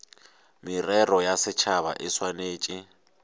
merero ya setšhaba e swanetše